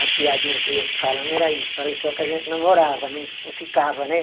A piadinha que eu ia falando era isso, eu falei só que a gente namorava, não não ficava, né?